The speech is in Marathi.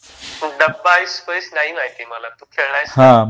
डब्बा ऐस पैस नाही माहिती मला. तू खेळला आहेस?